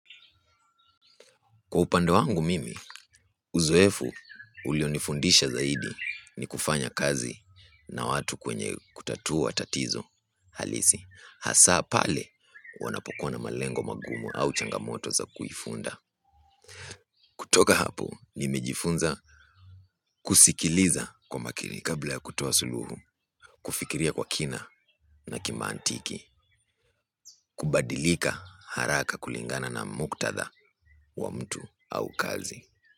Kwa upande wangu mimi, uzoefu ulionifundisha zaidi ni kufanya kazi na watu kwenye kutatua tatizo halisi. Hasaa pale wanapokuwa na malengo magumu au changamoto za kuifunda. Kutoka hapo, nimejifunza kusikiliza kwa makini kabla ya kutoa suluhu. Kufikiria kwa kina na kimantiki. Kubadilika haraka kulingana na muktadha wa mtu au kazi.